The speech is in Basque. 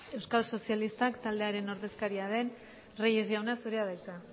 euskal sozialistak taldearen ordezkaria den reyes jauna zurea da hitza